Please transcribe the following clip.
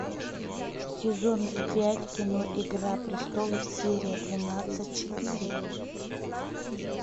сезон пять кино игра престолов серия двенадцать четыре